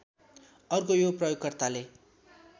अर्को यो प्रयोगकर्ताले